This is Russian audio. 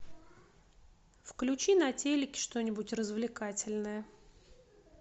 включи на телеке что нибудь развлекательное